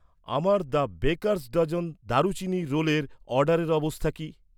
আমার the Baker's Dozen দারুচিনির রোলের অর্ডারের অবস্থা কি?